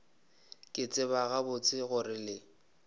ke tseba gabotse gore le